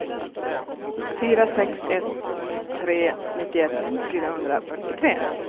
fyra sex ett tre nittioett fyrahundrafyrtiotre